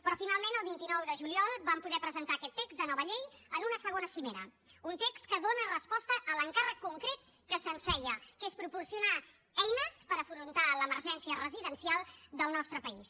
però finalment el vint nou de juliol vam poder presentar aquest text de nova llei en una segona cimera un text que dóna resposta a l’encàrrec concret que se’ns feia que és proporcionar eines per afrontar l’emergència residencial del nostre país